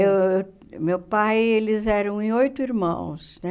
Uh meu pai, eles eram em oito irmãos, né?